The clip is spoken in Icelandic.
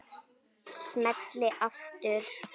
Smelli aftur.